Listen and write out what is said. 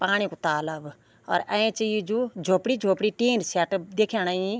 पाणी कु तालाब और ऐंच यी जू झोपडी-झोपडी टिन सेट दिख्याणी।